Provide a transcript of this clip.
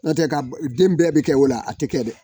N'o tɛ ka den bɛɛ bɛ kɛ o la a tɛ kɛ dɛ.